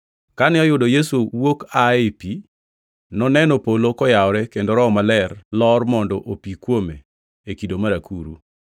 Kane oyudo Yesu wuok aa ei pi, noneno polo kayawore kendo ka Roho Maler lor mondo opi kuome e kido mar akuru.